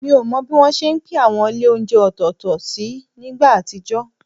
Mi ò mọ bí wọ́n ṣe ń pín àwọn ilé oúnjẹ ọ̀tọ̀ọ̀tọ̀ sí nígbà àtijọ́